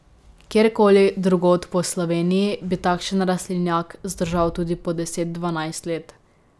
Kjerkoli drugod po Sloveniji bi takšen rastlinjak zdržal tudi po deset, dvanajst let.